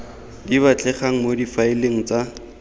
di batlegang mo difaeleng tsa